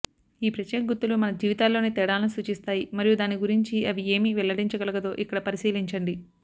ఈ ప్రత్యేక గుర్తులు మన జీవితాల్లోని తేడాలను సూచిస్తాయి మరియు దాని గురించి అవి ఏమి వెల్లడించగలదో ఇక్కడ పరిశీలించండి